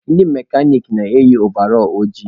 Ndị mekanik na-eyi ovall ojii